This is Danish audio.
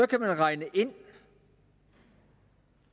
kan regnes ind